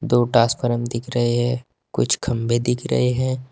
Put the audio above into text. दो टासफरर्म दिख रहे हैं। कुछ खंभे दिख रहे हैं।